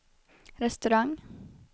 restaurang